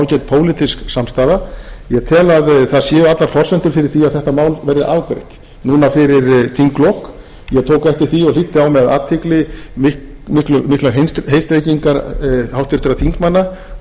pólitísk samstaða ég tel að það séu allar forsendur fyrir því að þetta mál verði afgreitt núna fyrir þinglok ég tók eftir því og hlýddi á með athygli miklar heitstrengingar háttvirtra þingmanna